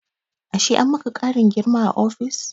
Ashe an maka ƙarin girma a ofis?